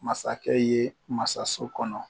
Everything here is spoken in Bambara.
Masakɛ ye masaso kɔnɔ.